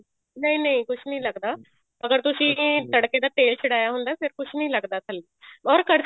ਨਹੀਂ ਨਹੀਂ ਕੁੱਝ ਨੀ ਲੱਗਦਾ ਅਗਰ ਤੁਸੀਂ ਤੜਕੇ ਦਾ ਤੇਲ ਛਡਾਇਆ ਹੁੰਦਾ ਫ਼ੇਰ ਕੁਛ ਨੀ ਲੱਗਦਾ ਥੱਲੇ or